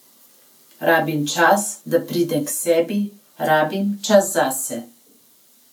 Rabim čas, da pridem k sebi, rabim čas zase.